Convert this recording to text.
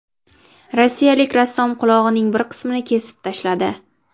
Rossiyalik rassom qulog‘ining bir qismini kesib tashladi.